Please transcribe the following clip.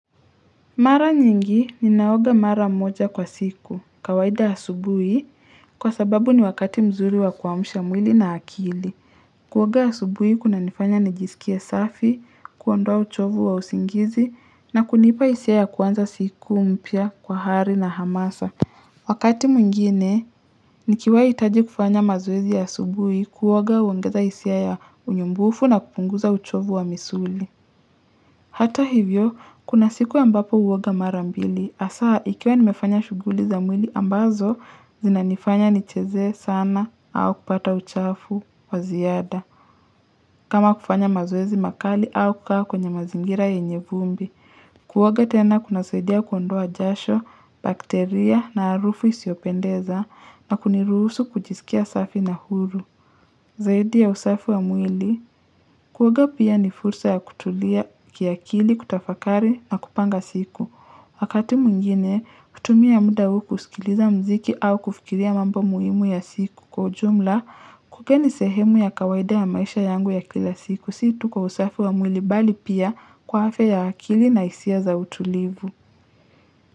Mara nyingi ninaoga mara moja kwa siku kawaida asubui kwa sababu ni wakati mzuri wa kuamsha mwili na akili. Kuoga asubui kunanifanya nijisikia safi, kuondoa uchovu wa usingizi na kunipa hisia ya kuanza siku mpya kwa hari na hamasa. Wakati mwingine nikiwai hitaji kufanya mazoezi ya asubui kuoga huongeza hisia ya unyumbufu na kupunguza uchovu wa misuli. Hata hivyo, kuna siku ambapo huoga mara mbili. Hasa, nikiwa nimefanya shughuli za mwili ambazo, zinanifanya nicheze sana au kupata uchafu wa ziada. Kama kufanya mazoezi makali au kukaa kwa kwenye mazingira yenye vumbi. Kuoga tena kunasaidia kuondoa jasho, bakteria na harufu isiyopendeza na kuniruhusu kujisikia safi na huru. Zaidi ya usafi wa mwili. Kuoga pia ni fursa ya kutulia kiakili kutafakari na kupanga siku. Wakati mwingine, hutumia muda huu kusikiliza mziki au kufikilia mambo muhimu ya siku. Kama kufanya mazoezi makali au kukaa kwenye mazingira yenye vumbi. Si tu kwa usafi wa mwili bali pia kwa afia ya akili na hisia za utulivu.